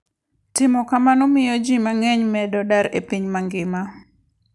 Timo kamano miyo ji mang'eny medo dar e piny mangima.